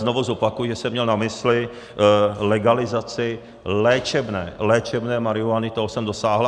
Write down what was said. Znovu zopakuji, že jsem měl na mysli legalizaci léčebné, léčebné marihuany, toho jsem dosáhl.